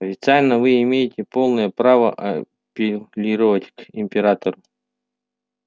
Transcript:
официально вы имеете полное право апеллировать к императору